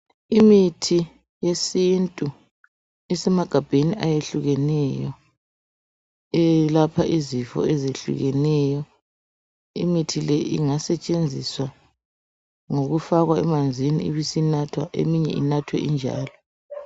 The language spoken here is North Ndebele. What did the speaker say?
Imithi yesintu isemagabheni ayehlukeneyo eyelapha izifo ezehlukeneyo, imithi leyi ingasetshenziswa ngokufakwa emanzini ibisinathwa eminye inathwe injalo.